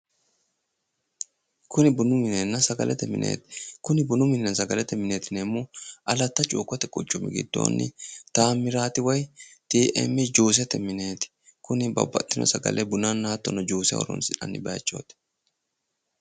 kuni bunu minena sagalete mineti kuni bunu minina sagalate mineti yiinemohu alatta chuukote quchumu giddonni tamirati woy TM juusete mineti kuni babbaxino hattono bunana juuse horoonsinannin mineti